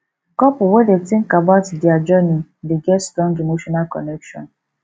couples wey dey think about dier journey dey get strong emotional connection